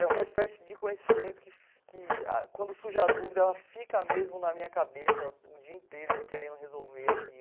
É uma espécie de conhecimento que que, quando surge a dúvida, ela fica mesmo na minha cabeça o dia inteiro, e eu querendo resolver